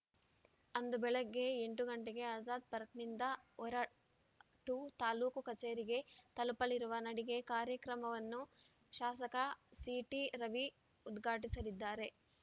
ಅಂದು ಬೆಳಗ್ಗೆ ಎಂಟು ಗಂಟೆಗೆ ಆಜಾದ್‌ ಪಾರ್ಕ್ನಿಂದ ಹೊರ ಟು ತಾಲೂಕು ಕಚೇರಿಗೆ ತಲುಪಲಿರುವ ನಡಿಗೆ ಕಾರ್ಯಕ್ರಮವನ್ನು ಶಾಸಕ ಸಿಟಿ ರವಿ ಉದ್ಘಾಟಿಸಲಿದ್ದಾರೆ